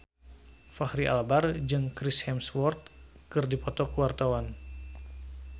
Fachri Albar jeung Chris Hemsworth keur dipoto ku wartawan